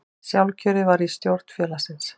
Sjálfkjörið var í stjórn félagsins